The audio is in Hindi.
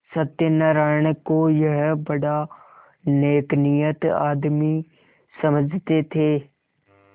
सत्यनाराण को यह बड़ा नेकनीयत आदमी समझते थे